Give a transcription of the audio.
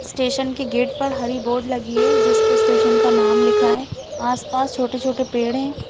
Station की gate पर हरी बोर्ड लगी है जिसपे स्टेशन का नाम लिखा है आस -पास छोटे -छोटे पेड़ हैं ।